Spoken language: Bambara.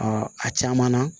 a caman na